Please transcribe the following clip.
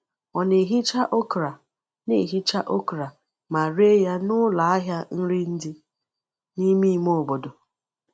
Ọ na-ehicha okra na-ehicha okra ma ree ya n’ụlọ ahịa nri dị n’ime ime obodo.